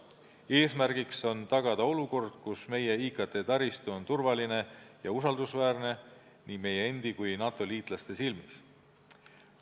Eesmärk on tagada olukord, kus meie IKT-taristu on turvaline ja usaldusväärne nii meie endi kui ka NATO liitlaste silmis.